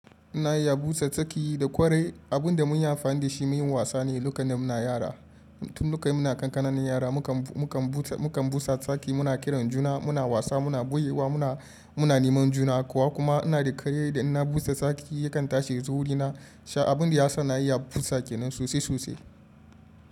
Ina iya busa tsaki da ƙwarai. Abin da mun yi amfani da shi mu yi wasa ne lokacin da muna yara. Tun lokacin muna ƙanƙananan yara, mukan busa tsaki, muna kiran juna, muna wasa, muna ɓoye wa, muna neman juna kuwa kuma ina da kanne da ina busa tsaki yakan tashi zuwa wurina. Sha abin da ya sa na iya busa tsaki nan sosai sosai.